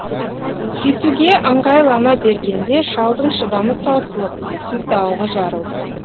кетуге ыңғайлана бергенде шалдың шыдамы таусылып сыздауығы жарылды